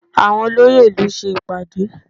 Àwọn olóyè ìlú ṣe ìpàdé